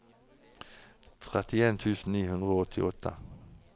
trettien tusen ni hundre og åttiåtte